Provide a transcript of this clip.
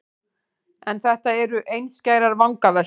En þetta eru einskærar vangaveltur.